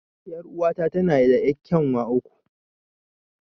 Er'uwa ta tana da yar'kyanwa uku.